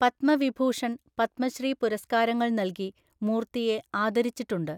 പത്മവിഭൂഷൺ, പത്മശ്രീ പുരസ്കാരങ്ങൾ നൽകി മൂർത്തിയെ ആദരിച്ചിട്ടുണ്ട്.